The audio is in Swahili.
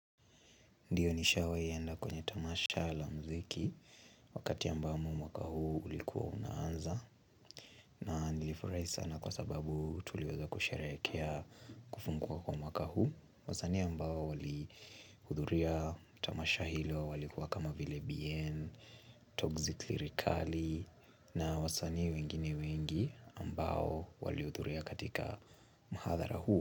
Ndiyo nishawai enda kwenye tamasha la mziki Wakati ambamo mwaka huu ulikuwa unaanza na nilifurai sana kwa sababu tuliweza kusherehekea kufungwa kwa mwaka huu wasanii ambao wali hudhuria tamasha hilo walikuwa kama vile bien Toxically rikali na wasanii wengine wengi ambao walihudhuria katika mahadhara huu.